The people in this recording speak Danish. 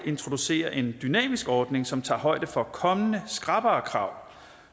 introducerer en dynamisk ordning som tager højde for kommende skrappere krav